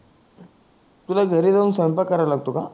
तुला घरी जाऊन स्वयंपाक कराव लागतो का